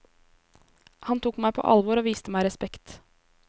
Han tok meg på alvor og viste meg respekt.